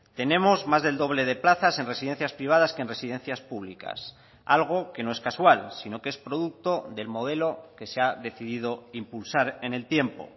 tenemos más del doble de plazas en residencias privadas que en residencias públicas algo que no es casual sino que es producto del modelo que se ha decidido impulsar en el tiempo